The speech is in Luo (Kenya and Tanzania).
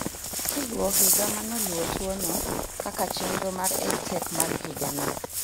Kiluo higa manoluo tuo no kaka chenro mar EdTech mar higa no